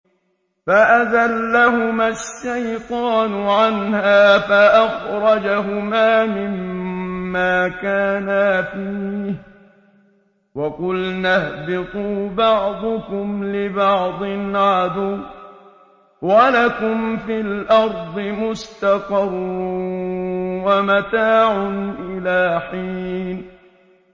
فَأَزَلَّهُمَا الشَّيْطَانُ عَنْهَا فَأَخْرَجَهُمَا مِمَّا كَانَا فِيهِ ۖ وَقُلْنَا اهْبِطُوا بَعْضُكُمْ لِبَعْضٍ عَدُوٌّ ۖ وَلَكُمْ فِي الْأَرْضِ مُسْتَقَرٌّ وَمَتَاعٌ إِلَىٰ حِينٍ